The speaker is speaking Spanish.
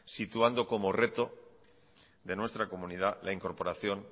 situando como reto de nuestra comunidad la incorporación